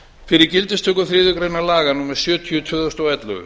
fyrir gildistöku þriðju grein laga númer sjötíu tvö þúsund og ellefu